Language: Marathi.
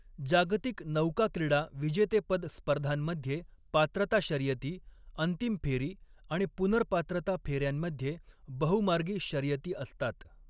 जागतिक नौकाक्रीडा विजेतेपद स्पर्धांमध्ये पात्रता शर्यती, अंतिम फेरी आणि पुनर्पात्रता फेऱ्यांमध्ये बहु मार्गी शर्यती असतात.